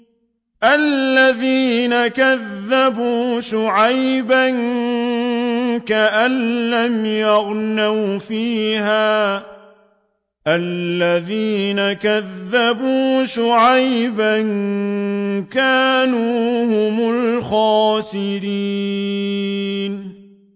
الَّذِينَ كَذَّبُوا شُعَيْبًا كَأَن لَّمْ يَغْنَوْا فِيهَا ۚ الَّذِينَ كَذَّبُوا شُعَيْبًا كَانُوا هُمُ الْخَاسِرِينَ